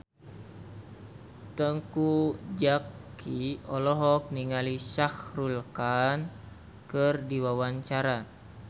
Teuku Zacky olohok ningali Shah Rukh Khan keur diwawancara